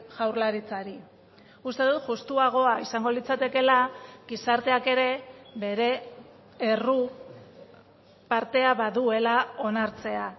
jaurlaritzari uste dut justuagoa izango litzatekeela gizarteak ere bere erru partea baduela onartzea